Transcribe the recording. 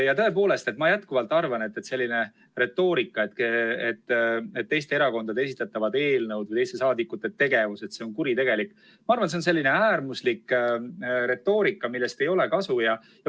Ja tõepoolest, ma jätkuvalt arvan, et selline retoorika, et teiste erakondade esitatavad eelnõud või teiste saadikute tegevus on kuritegelik, on minu arvates selline äärmuslik retoorika, millest ei ole kasu.